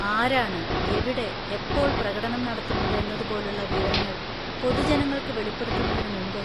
ആരാണ് എവിടെ, എപ്പോൾ പ്രകടനം നടത്തുന്നത് എന്നതുപോലുള്ള വിവരങ്ങൾ പൊതുജനങ്ങൾക്ക് വെളിപ്പെടുത്തുന്നതിന് മുമ്പ്?